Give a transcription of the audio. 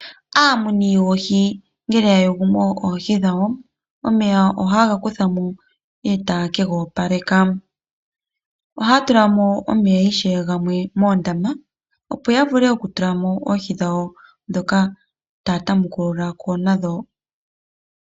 Aamuni yoohi ngele yayugu mo oohi dhawo omeya ohaye gakuthamo etaye kegoopaleka, ohaya tulamo omeya ishewe gamwe moondama opo yavule okutula mo oohi dhawo dhoka taa tamukululako nadho.